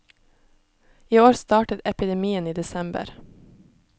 I år startet epidemien i desember.